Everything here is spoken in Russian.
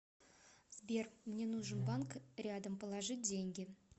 сбер мне нужен банк рядом положить деньги